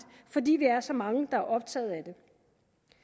fordi vi er så mange der er optaget af det